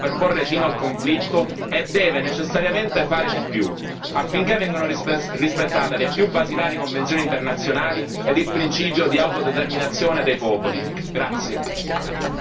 Ha la forza diplomatica per porre fine al conflitto e deve necessariamente fare di più affinché vengano rispettate le più basilari convenzioni internazionali ed il principio di autodeterminazione dei popoli.